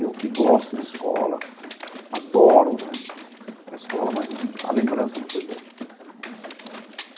Eu que gosto de escola, adoro né a escola, mas a lembrança não foi boa.